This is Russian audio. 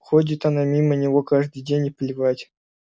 ходит она мимо него каждый день и плевать